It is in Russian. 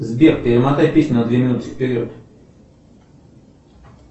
сбер перемотай песню на две минуты вперед